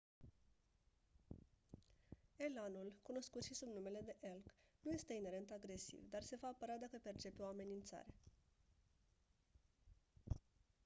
elanul cunoscut si sub numele de elk nu este inerent agresiv dar se va apăra dacă percepe o amenințare